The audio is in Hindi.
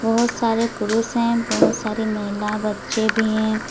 बहोत सारे पुरुष हैं बहोत सारी महिला बच्चे भी हैं।